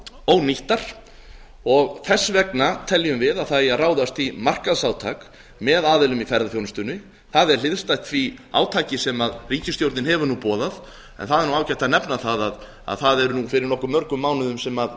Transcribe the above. ónýttar og þess vegna teljum við að ráðast eigi í markaðsátak með aðilum í ferðaþjónustunni það er hliðstætt því átaki sem ríkisstjórnin hefur boðað en það er ágætt að nefna það að við lögðum þetta til fyrir nokkuð mörgum mánuðum þannig að